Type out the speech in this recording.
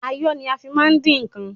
Ayọ́ ni a fi má ń dín ǹkan.